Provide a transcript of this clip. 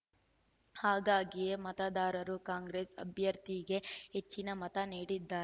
ಹಾಗಾಗಿಯೇ ಮತದಾರರು ಕಾಂಗ್ರೆಸ್‌ ಅಭ್ಯರ್ಥಿಗೆ ಹೆಚ್ಚಿನ ಮತ ನೀಡಿದ್ದಾ